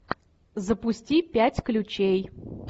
запусти пять ключей